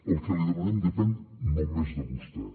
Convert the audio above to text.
el que li demanem depèn només de vostè